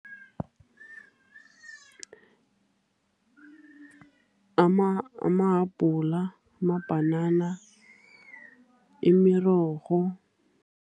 Amahabhula, amabhanana, imirorho.